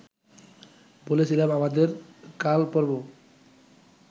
বলেছিলাম আমাদের কালপর্ব